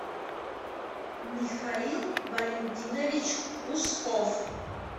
михаил валентинович усков